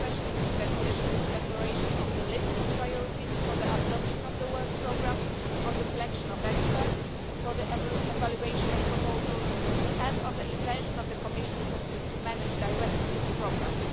I mean especially the Commission's declaration on the list of priorities for the adoption of the work programme, on the selection of experts for the evaluation of proposals, and on the intention of the Commission to manage directly the programme.